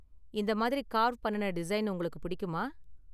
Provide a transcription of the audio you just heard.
இந்த மாதிரி கார்வ் பண்ணுன டிசைன் உங்களுக்கு பிடிக்குமா?